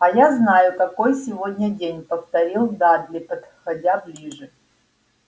а я знаю какой сегодня день повторил дадли подходя ближе